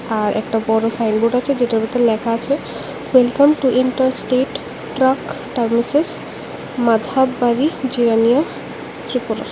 আর একটা বড় সাইনবোর্ড আছে যেটার ভিতর লেখা আছে welcome to interstate truck terminus Madhabbari Jirania Tripura.